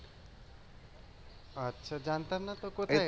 আচ্ছা জানতাম না তো